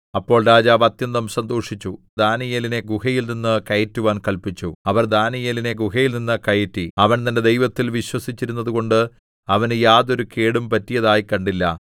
അപ്പോൾ രാജാവ് അത്യന്തം സന്തോഷിച്ചു ദാനീയേലിനെ ഗുഹയിൽനിന്ന് കയറ്റുവാൻ കല്പിച്ചു അവർ ദാനീയേലിനെ ഗുഹയിൽനിന്ന് കയറ്റി അവൻ തന്റെ ദൈവത്തിൽ വിശ്വസിച്ചിരുന്നതുകൊണ്ട് അവന് യാതൊരു കേടും പറ്റിയതായി കണ്ടില്ല